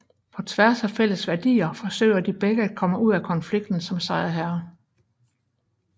På tværs af fælles værdier forsøger de begge at komme ud af konflikten som sejrherre